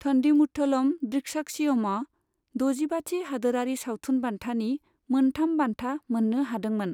थन्डीमुथलम ड्रिक्साक्षियमआ द'जिबाथि हादोरारि सावथुन बान्थानि मोनथाम बान्था मोननो हादोंमोन।